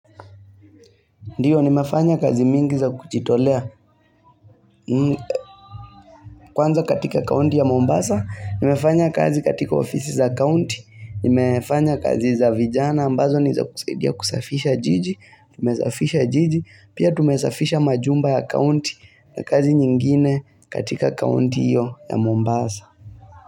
Ndiyo nimefanya kazi mingi za kujitolea kwanza katika kaunti ya Mombasa, nimefanya kazi katika ofisi za kaunti, nimefanya kazi za vijana ambazo niza kusaidia kusafisha jiji, tumesafisha jiji, pia tumesafisha majumba ya kaunti na kazi nyingine katika kaunti hiyo ya Mombasa.